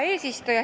Hea eesistuja!